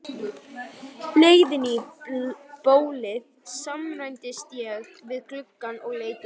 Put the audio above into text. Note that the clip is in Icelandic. leiðinni í bólið staðnæmdist ég við gluggann og leit út.